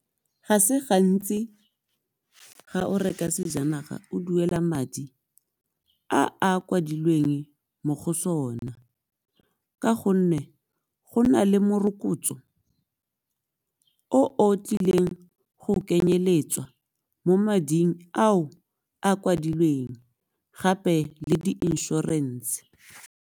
Ga se gantsi ga o reka sejanaga o duela madi a a kwadilweng mo go sona, ka gonne go na le morokotso o o tlileng go kenyeletswa mo mading ao a kwadilweng gape le di-insurance.